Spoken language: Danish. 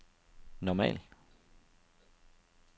normal